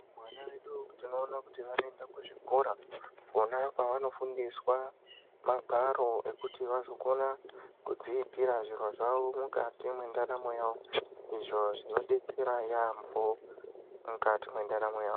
Vana vedu tinoona kuti vanoenda kuzvikora, kona kwevanofundiswa magwaro ekuti vazokona kudziitira zviro zvavo mukati mendaramo yavo, izvo zvinodetsera yaamho mukati mwendaramo yavo.